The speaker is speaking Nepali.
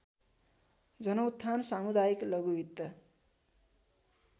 जनउत्थान सामुदायिक लघुवित्त